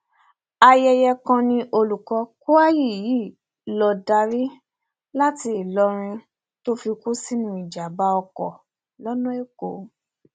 ayẹyẹ kan ni olùkọ kwayi yìí ń lọọ darí láti ìlọrin tó fi kú sínú ìjàmàbá ọkọ lọnà èkó